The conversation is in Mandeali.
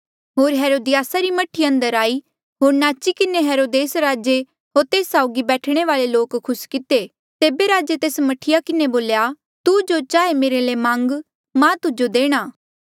होर हेरोदियासा री मह्ठी अंदर आई होर नाची किन्हें हेरोदेस राजे होर तेस साउगी बैठणे वाले लोक खुस किते तेबे राजे मह्ठी किन्हें बोल्या तू जो चाहे मेरे ले मांग मां तुजो देणा